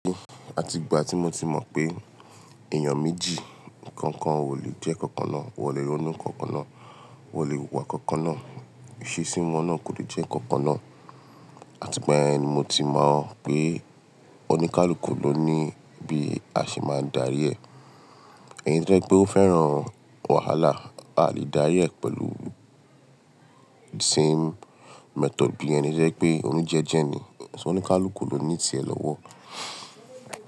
Àti ìgbà tí mo ti mọ̀ pé èèyàn méjì kankan ò lè jẹ́ kankan náà, wọ́n lè ronú kankan náà, wọ́n lè wù iwa kankan náà, ìṣesí wọ́n náà kò lè jẹ́ kankan náà. Àti ìgbà ẹni mo ti mọ̀ pé oníkálukú ló ní bí a ṣe máa darí ẹ̀. Ẹni tí ẹ jẹ́ pé ó fẹ́ràn wàhálà, a lè dárí ẹ̀ pẹ̀lú same method bí ẹni jẹ́ pé oní jẹ́jẹ́ ni. So oníkálukú ló ní ìtẹ́ lọ́wọ́?